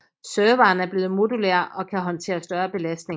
Serveren er blevet modulær og kan håndtere større belastning